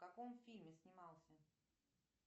в каком фильме снимался